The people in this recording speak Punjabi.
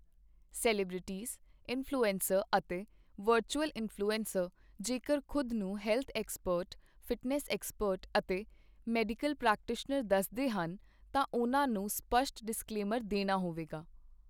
ਸੈਲੀਬ੍ਰਿਟੀਜ਼, ਇਨਫਲੂਐਂਸਰ ਅਤੇ ਵਰਚੁਅਲ ਇਨਫਲੂਐਂਸਰ ਜੇਕਰ ਖੁਦ ਨੂੰ ਹੈਲਥ ਐਕਸਪਰਟ ਫਿਟਨੈੱਸ ਐਕਸਪਰਟ ਅਤੇ ਮੈਡੀਕਲ ਪ੍ਰੈਕਟੀਸ਼ਨਰ ਦੱਸਦੇ ਹਨ, ਤਾਂ ਉਨ੍ਹਾਂ ਨੂੰ ਸਪੱਸ਼ਟ ਡਿਸਕਲੇਮਰ ਦੇਣਾ ਹੋਵੇਗਾ